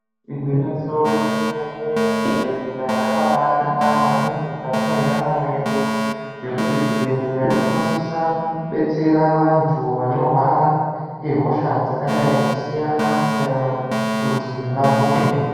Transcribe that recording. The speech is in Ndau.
Igwinyiso remene mene zvibhehleya zvakabanaka maningi mukati mwendaramo yedu ngekuti zvibhehleya zvinosisa kubetsera vantu vanorwara ngehosha dzakadai kusiyana siyana kuti vapone.